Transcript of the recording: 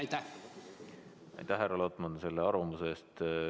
Aitäh, härra Lotman, selle arvamuse eest!